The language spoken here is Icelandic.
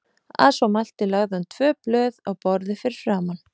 Að svo mæltu lagði hann tvö blöð á borðið fyrir framan